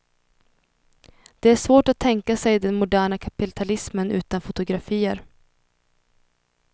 Det är svårt att tänka sig den moderna kapitalismen utan fotografier.